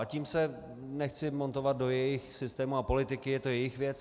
A tím se nechci montovat do jejich systému a politiky, je to jejich věc.